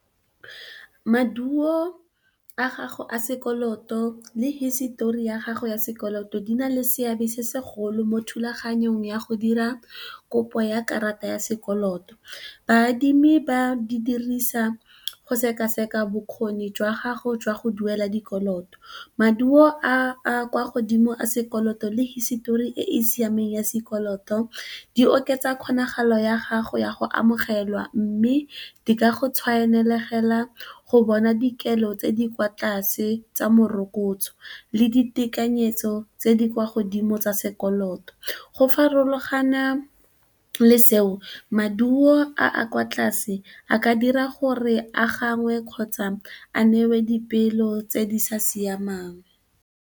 Maduo a gago a sekoloto le hisitori ya gago ya sekoloto di na le seabe se segolo mo thulaganyong ya go dira kopo ya karata ya sekoloto, baadimi ba di dirisa go sekaseka bokgoni jwa gago jwa go duela dikoloto. Maduo a kwa godimo a sekoloto le hisitori e e siameng ya sekoloto di oketsa kgonagalo ya gago ya go amogelwa mme, di ka go tshwanelegela fela go bona dikelo tse di kwa tlase tsa morokotso le ditekanyetso tse di kwa godimo tsa sekoloto go farologana le seo maduo a a kwa tlase a ka dira gore a ganwe kgotsa a newe dipeelo tse di sa siamang.